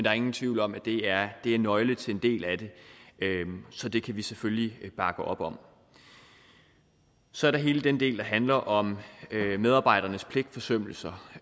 er ingen tvivl om at det er er nøglen til en del af det så det kan vi selvfølgelig bakke op om så er der hele den del der handler om medarbejdernes pligtforsømmelser